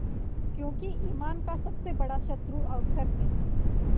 क्योंकि ईमान का सबसे बड़ा शत्रु अवसर है